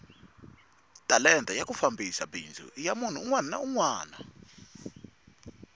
talenta ya ku fambisa bindzu ayina munhu unwana na unwana